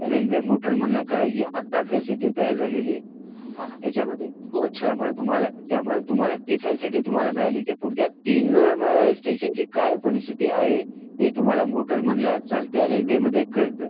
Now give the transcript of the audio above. railway motorman ला कळायची facility आता तयार झालेली आहे ह्याचा मध्ये त्यामुळे तुम्हाला ती फॅसिलिटी मिळाली की पुडच्या तीन अ स्टेशन ची काय परिसतिथी आहे हे तुम्हाला मोटर्मन ला चालत्या रेल्वे मध्ये कळतं